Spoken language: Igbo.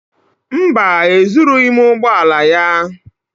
Mba, ezurughị m ụgbọ ala ya.